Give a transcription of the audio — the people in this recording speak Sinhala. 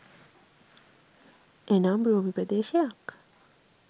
එනම් භූමි ප්‍රදේශයක්